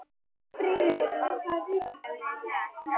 Freyviður, hvaða vikudagur er í dag?